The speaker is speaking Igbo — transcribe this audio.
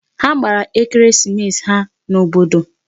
Ha gbara ekeresimesi ha n'obodo.